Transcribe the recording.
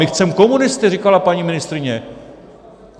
My chceme komunisty, říkala paní ministryně.